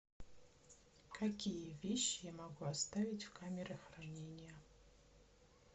какие вещи я могу оставить в камере хранения